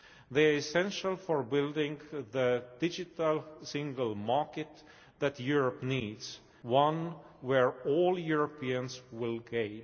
They are essential for building the Digital Single Market that Europe needs one where all Europeans will gain.